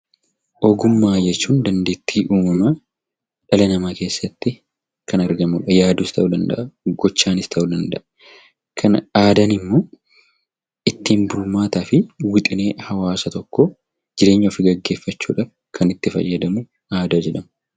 Ogummaa jechuun dandeettii uumamaa dhala namaa keessatti kan argamudha. Yaaduus ta'uu danda'a, gochaanis ta'uu danda'a. Aadaan immoo ittiin bulmaataa fi wixinee hawaasa tokkoo, jireenya ofii gaggeeffachuudhaaf kan itti fayyadamu aadaa jedhama.